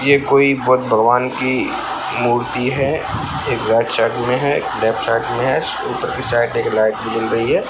ये कोई बुद्ध भगवान की मूर्ति है एक राइट साइड में है एक लेफ्ट साइड में है ऊपर के साइड में एक लाइट भी जल रही है।